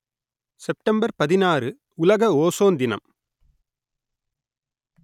September பதினாறு உலக ozone தினம்